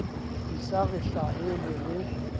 di sa re hlahele re